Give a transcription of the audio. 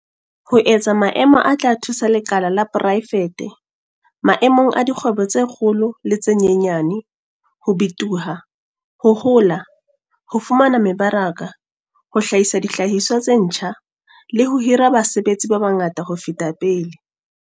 Ho etsa maemo a tla thusa lekala la poraefete - maemong a dikgwebo tse kgolo le tse nyenyane - ho bitoha, ho hola, ho fumana mebaraka, ho hlahisa dihlahiswa tse ntjha, le ho hira basebetsi ba bangata ho feta pele.